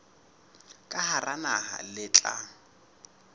ka hara naha le tla